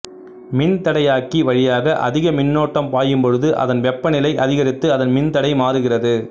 மின்தடையாக்கி வழியாக அதிக மின்னோட்டம் பாயும் பொழுது அதன் வெப்பநிலை அதிகரித்து அதன் மின் தடை மாறுகிறது